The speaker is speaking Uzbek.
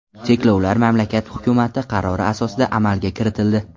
Cheklovlar mamlakat hukumati qarori asosida amalga kiritildi .